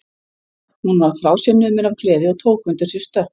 Hún varð frá sér numin af gleði og tók undir sig stökk.